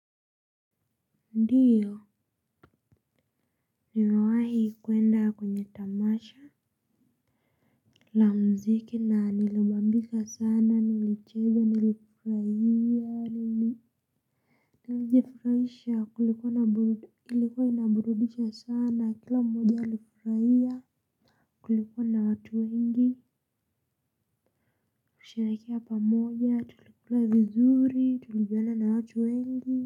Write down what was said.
Ndiyo nimewahi kuenda kwenye tamasha. La mziki na nilibambika sana nilicheza nilifurahia nilijifurahisha kulikuwa ilikuwa inaburudisha sana kila mmoja alifurahia kulikuwa na watu wengi kusherehekea pamoja tulikula vizuri tulijuana na watu wengi.